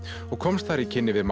og komst þar í kynni við